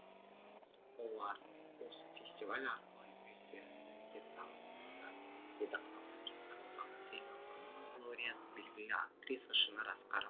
олар осы фестиваль арқылы өздерін бізге танытты деді қазақстан жастар одағы сыйлығының лауреаты белгілі актриса шынар асқар